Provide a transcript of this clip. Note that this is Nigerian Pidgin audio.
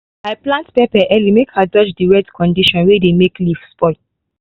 i plant pepper early make i dodge the wet condition wey dey make leaf spoil.